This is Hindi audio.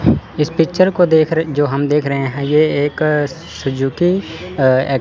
इस पिक्चर को देख रहे जो हम देख रहे हैं यह एक सुजुकी अ--